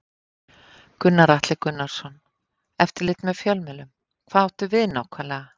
Gunnar Atli Gunnarsson: Eftirlit með fjölmiðlum, hvað áttu við nákvæmlega?